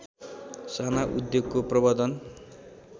साना उद्योगको प्रवर्द्धन